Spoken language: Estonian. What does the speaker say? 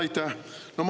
Aitäh!